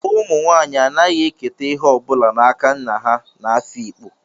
Umu nwanyi anaghi eketa ihe o bula n'aka nna ha n'Afikpo,